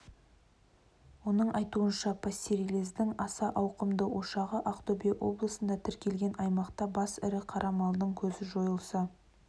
оның айтуынша пастереллездің аса ауқымды ошағы ақтөбе облысында тіркелген аймақта бас ірі қара малдың көзі жойылса